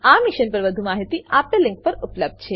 આ મિશન પર વધુ માહિતી આપેલ લીંક પર ઉપલબ્ધ છે